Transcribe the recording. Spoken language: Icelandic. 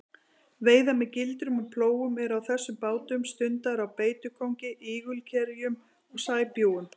Veiðar með gildrum og plógum eru á þessum bátum stundaðar á beitukóngi, ígulkerjum og sæbjúgum.